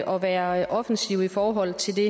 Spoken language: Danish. og være offensiv i forhold til det